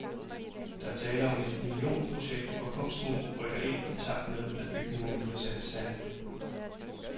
Der er tale om et millionprojekt, hvor kunsten rykker ind, i takt med at bygningerne bliver sat i stand.